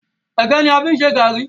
ẹgẹ ní a fí n ṣe garri.